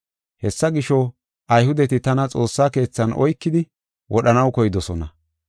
Hessa gisho, Ayhudeti tana xoossa keethan oykidi wodhanaw koydosona.